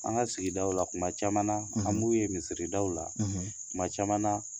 An ka sigidaw la tuma caman na an mu ye misiridaw la tuma caman na